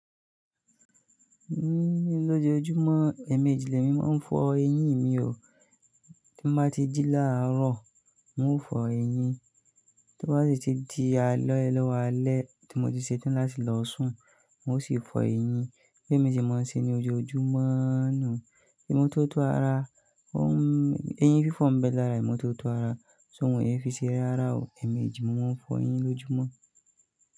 Ní lójoójúmọ́, ẹ̀ẹ̀mèjì lẹ̀ mi máa ń fọ eyín mi o. Tí mbá ti jí láàárọ̀, n ó fọ eyín. Tí o bá si ti di ále lọ́wo alẹ́, tí mo ti ṣetán láti lọ sùn, n ó sì fọ eyín. Be mi se máa ń ṣe ní ojoojúmọ́–oo nu. Imo tó tó ara, ó ń- eyín fífọ̀ m bẹ lára imọ́ tó tó ara. Ṣó mọ eyín fi ṣe rárá o. Ẹ̀ẹ̀mèjì mo máa ń fọ eyín lójúmọ́.